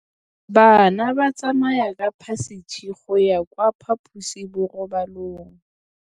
Bana ba tsamaya ka phašitshe go ya kwa phaposiborobalong.